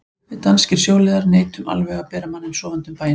Við danskir sjóliðar neitum alveg að bera manninn sofandi um bæinn.